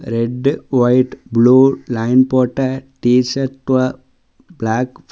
Red white blue line போட்ட t shirt black pant .